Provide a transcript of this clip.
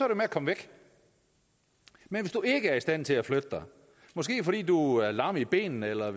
med at komme væk men hvis du ikke er i stand til at flytte dig måske fordi du er lam i benene eller